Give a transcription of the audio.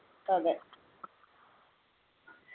അതെ